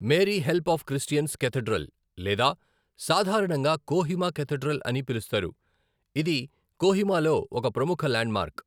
Mary help of Christians cathedral లేదా సాధారణంగా Kohima cathedral అని పిలుస్తారు, ఇది కొహిమాలో ఒక ప్రముఖ ల్యాండ్మార్క్.